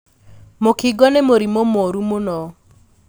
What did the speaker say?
Mũkingo nĩ mũrimũ mũru mũno.